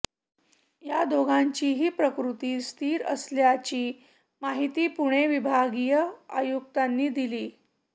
या दोघांचीही प्रकृती स्थिर असल्याची माहिती पुणे विभागीय आयुक्तांनी दिलीय